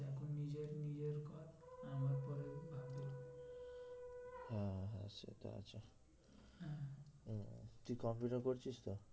তুই computer করছিস তো?